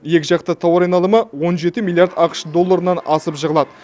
екіжақты тауар айналымы он жеті миллиард ақш долларынан асып жығылады